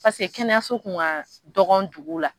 Pase kɛnɛyaso kun ka dɔgɔ dugu la.